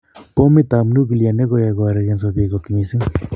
Pomit ap Nuclear negoyai koarageso pik kot missing.